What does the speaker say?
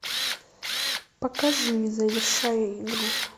покажи завершая игру